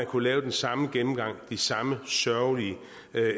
kunne lave den samme gennemgang af de samme sørgelige